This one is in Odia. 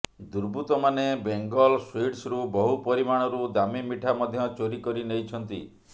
ଦୁର୍ବୃତ୍ତମାନେ ବେଙ୍ଗଲ ସୁଇଟ୍ସରୁ ବହୁ ପରିମାଣରୁ ଦାମୀ ମିଠା ମଧ୍ୟ ଚୋରି କରି ନେଇଛନ୍ତି